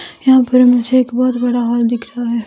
यहां पर मुझे एक बहुत बड़ा हॉल दिख रहा है।